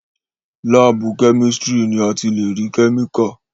láàbù chemistry ni a ti lè rí chemical.